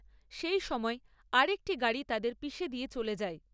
সেই সময় আরেকটি গাড়ি তাঁদের পিষে দিয়ে চলে যায়।